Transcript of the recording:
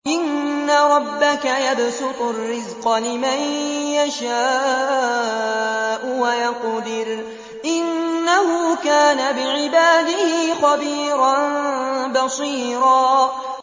إِنَّ رَبَّكَ يَبْسُطُ الرِّزْقَ لِمَن يَشَاءُ وَيَقْدِرُ ۚ إِنَّهُ كَانَ بِعِبَادِهِ خَبِيرًا بَصِيرًا